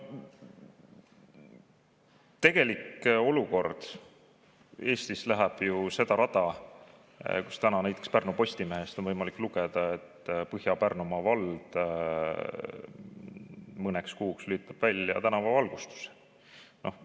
Tegelik olukord Eestis läheb seda rada pidi, et täna on näiteks Pärnu Postimehest võimalik lugeda, kuidas Põhja-Pärnumaa vald lülitab tänavavalgustuse mõneks kuuks välja.